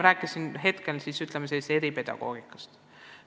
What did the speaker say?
Praegu ma pigem rääkisin eripedagoogikast.